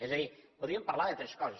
és a dir podríem parlar de tres coses